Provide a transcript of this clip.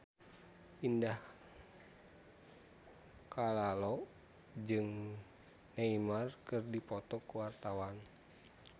Indah Kalalo jeung Neymar keur dipoto ku wartawan